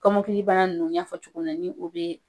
Kɔmɔkili bana nunnu n y'a fɔ cogo min na ni o be